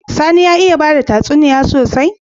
Sani ya iya bada tatsuniya sosai?